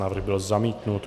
Návrh byl zamítnut.